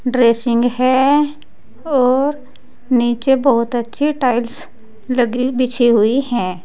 Dressing है और नीचे बहुत अच्छी टाइल्स लगी बिछी हुई है।